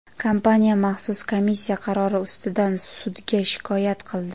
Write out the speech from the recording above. kompaniya maxsus komissiya qarori ustidan sudga shikoyat qildi.